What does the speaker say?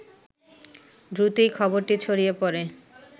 দ্রুতই খবরটি ছড়িয়ে পড়ে